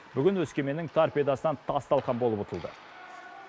бүгін өскеменнің торпедасынан тас талқан болып ұтылды